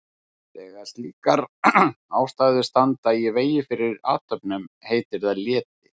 Þegar slíkar ástæður standa í vegi fyrir athöfnum heitir það leti.